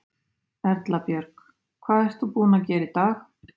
Erla Björg: Hvað ert þú búin að gera í dag?